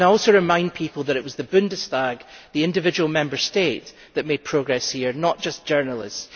I also remind people that it was the Bundestag and the individual Member State that made progress here, not just journalists.